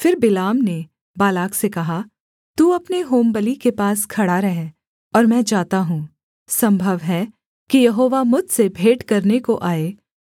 फिर बिलाम ने बालाक से कहा तू अपने होमबलि के पास खड़ा रह और मैं जाता हूँ सम्भव है कि यहोवा मुझसे भेंट करने को आए